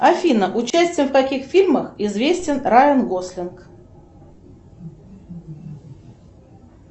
афина участием в каких фильмах известен райан гослинг